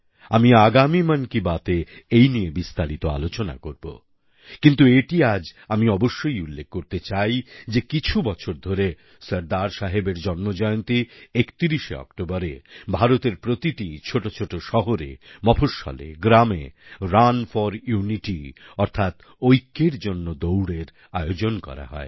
আমি আগামী মান কি বাতএ এই নিয়ে বিস্তারিত আলোচনা করব কিন্তু এটি আজ আমি অবশ্যই উল্লেখ করতে চাই যে কিছু বছর ধরে সর্দারসাহেবের জন্মজয়ন্তী ৩১ অক্টোবরে ভারতের প্রতিটি ছোটছোট শহরে মফঃস্বলেগ্রামে রান ফোর ইউনিটি অর্থাৎ ঐক্যের জন্য দৌড়এর আয়োজন করা হয়